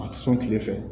A ti sɔn kile fɛ